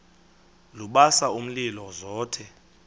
lubasa umlilo zothe